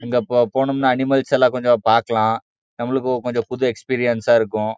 அங்க போன அனிமேல்ஸ் எல்லா கொஞ்சம் பாக்கலாம் நம்மளுக்கு கொஞ்சம் புது எஸ்பிரின்ஸ் இருக்கும்.